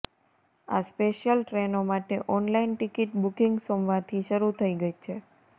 આ સ્પેશિયલ ટ્રેનો માટે ઓનલાઇન ટિકિટ બુકિંગ સોમવારથી શરૂ થઈ છે